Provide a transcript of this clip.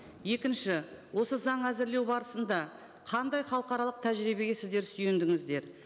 екінші осы заң әзірлеу барысында қандай халықаралық тәжірибеге сіздер сүйендіңіздер